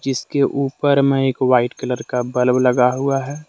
जिसके ऊपर में एक व्हाइट कलर का बल्ब लगा हुआ है।